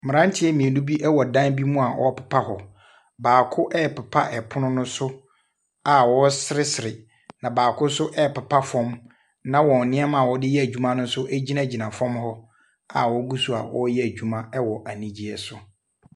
Mmeranteɛ mmienu bi wɔ dan bi mu a wɔrepepa hɔ, baako ɛrepepa pono so a ɔreseresere, na baako nso ɛrepepa fam, na wɔn nneɛma wɔde yɛ adwuma no nso gyinagyina fam hɔ awɔgu so a wɔreyɛ adwuma wɔ anigyeɛ so.